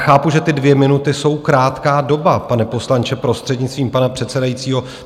Chápu, že ty dvě minuty jsou krátká doba, pane poslanče, prostřednictvím pana předsedajícího.